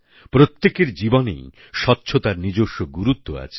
প্রত্যেকের জীবনেই স্বচ্ছতার নিজস্ব গুরুত্ব আছে